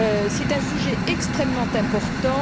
C'est un sujet extrêmement important.